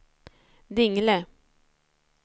Dingle